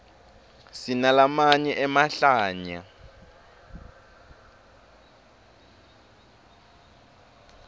sinalamanye emahlaya